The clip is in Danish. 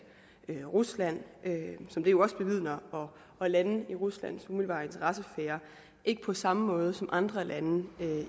rusland som det jo også bevidner og lande inden for ruslands umiddelbare interessesfære ikke på samme måde som andre lande